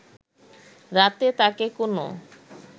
রাতে তাকে কোনো